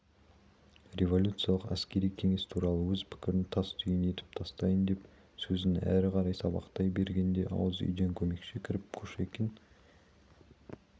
революциялық әскери кеңес туралы өз пікірін тастүйін етіп тастайын деп сөзін әрі қарай сабақтай бергенде ауыз үйден көмекші кіріп кушекин